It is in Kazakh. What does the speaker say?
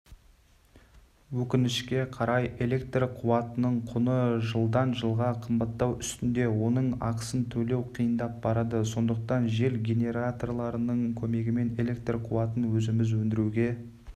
өкінішке қарай электр қуатының құны жылдан-жылға қымбаттау үстінде оның ақысын төлеу қиындап барады сондықтан жел генераторларының көмегімен электр қуатын өзіміз өндіруге